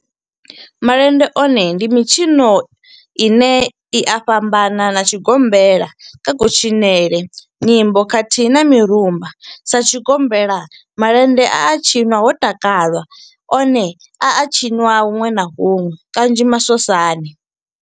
Malende one ndi mitshino ine u a fhambana na tshigombela kha kutshinele, nyimbo khathihi na mirumba. Sa tshigombela, malende a tshinwa ho takalwa, one a a tshiniwa hunwe na hunwe kanzhi masosani.